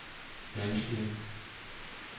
menneskelige